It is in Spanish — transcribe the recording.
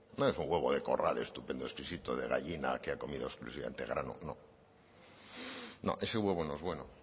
no es un huevo de corral estupendo exquisito de gallina que ha comido exclusivamente grano no no ese huevo no es bueno